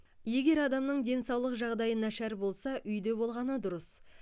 егер адамның денсаулық жағдайы нашар болса үйде болғаны дұрыс